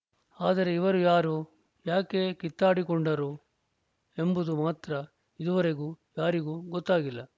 ಆದರೆ ಇವರು ಯಾರು ಯಾಕೆ ಕಿತ್ತಾಡಿಕೊಂಡರು ಎಂಬುದು ಮಾತ್ರ ಇದುವರೆಗೂ ಯಾರಿಗೂ ಗೊತ್ತಾಗಿಲ್ಲ